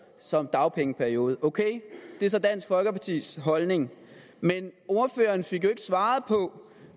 som dagpengeperiode ok det er så dansk folkepartis holdning men ordføreren fik jo svaret på